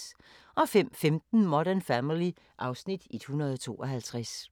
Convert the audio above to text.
05:15: Modern Family (Afs. 152)